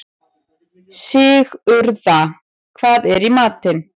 Sigurða, hvað er í matinn?